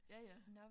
Ja ja